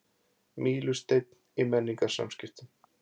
Mílusteinn í menningarsamskiptum